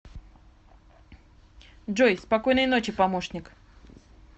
джой спокойной ночи помощник